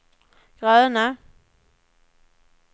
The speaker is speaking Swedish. gröna